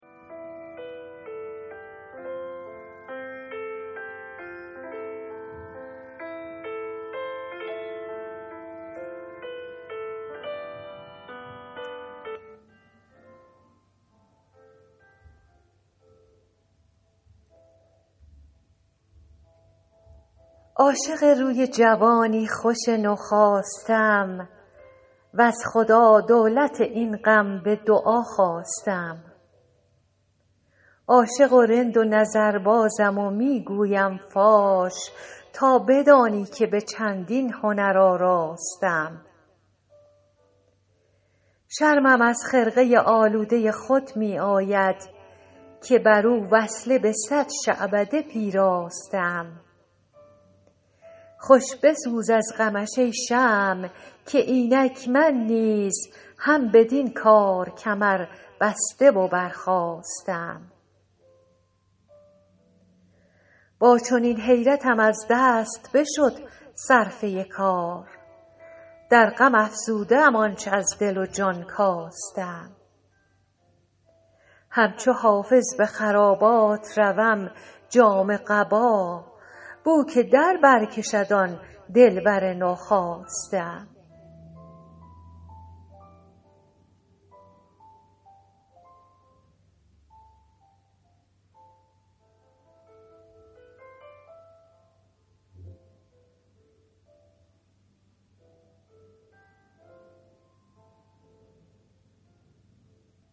عاشق روی جوانی خوش نوخاسته ام وز خدا دولت این غم به دعا خواسته ام عاشق و رند و نظربازم و می گویم فاش تا بدانی که به چندین هنر آراسته ام شرمم از خرقه آلوده خود می آید که بر او وصله به صد شعبده پیراسته ام خوش بسوز از غمش ای شمع که اینک من نیز هم بدین کار کمربسته و برخاسته ام با چنین حیرتم از دست بشد صرفه کار در غم افزوده ام آنچ از دل و جان کاسته ام همچو حافظ به خرابات روم جامه قبا بو که در بر کشد آن دلبر نوخاسته ام